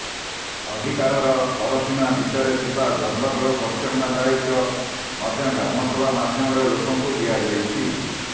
ଅଧିକାରର ପରସୀମା ଭିତରେ ଥିବା ଜଙ୍ଗଲର ପରିଚାଳନା ଦାୟୀତ୍ୱ ମଧ୍ୟ ଗ୍ରାମସଭା ମାଧ୍ୟମରେ ଲୋକଙ୍କୁ ଦିଆଯାଇଛି